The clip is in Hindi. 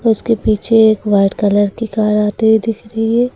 उसके पीछे एक वाइट कलर की कार आती हुई दिख रही है।